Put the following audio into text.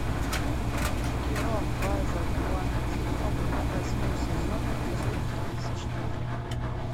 кино база куантико восьмой сезон эпизод тридцать четыре